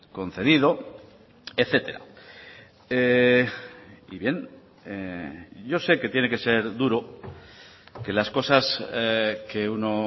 concedido etcétera y bien yo sé que tiene que ser duro que las cosas que uno